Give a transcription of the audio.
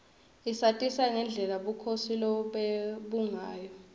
isatisa ngendlela bukhosi lobebungayo